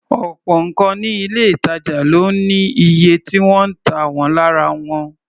Ọ̀pọ̀ nǹkan ní ilé-ìtàjà ló ní iye tí wọ́n ń tà wọ́n lára rẹ̀.